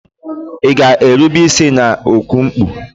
Ị ga-erube isi na oku mkpu?